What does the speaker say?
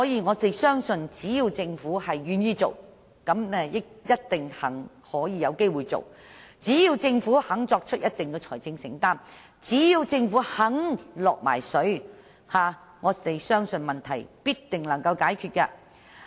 我們相信，只要政府願意做，便有機會做到；只要政府肯作出一定的財政承擔，只要政府肯"落水"，問題必定能夠解決。